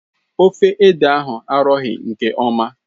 Ofe ede ahụ arọghị nke ọma